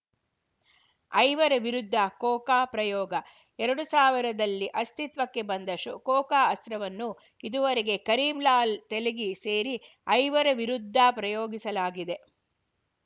ಐವರ ವಿರುದ್ಧ ಕೋಕಾ ಪ್ರಯೋಗ ಎರಡು ಸಾವಿರದಲ್ಲಿ ಅಸ್ತಿತ್ವಕ್ಕೆ ಬಂದ ಕೋಕಾ ಅಸ್ತ್ರವನ್ನು ಇದುವರೆಗೆ ಕರೀಂಲಾಲ್‌ ತೆಲಗಿ ಸೇರಿ ಐವರ ವಿರುದ್ಧ ಪ್ರಯೋಗಿಸಲಾಗಿದೆ